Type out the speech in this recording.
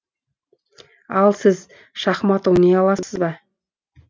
ал сіз шахмат ойнай аласыз ба